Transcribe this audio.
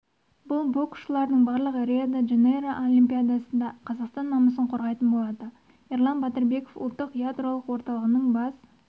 бұл боксшылардың барлығы рио-де жанейро олимпиадасында қазақстан намысын қорғайтын болады ерлан батырбеков ұлттық ядролық орталығының бас